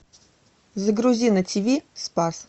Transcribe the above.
загрузи на тиви спас